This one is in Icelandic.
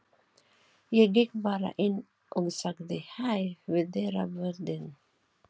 Ég gekk bara inn og sagði hæ við dyravörðinn.